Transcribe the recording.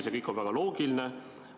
See kõik on väga loogiline.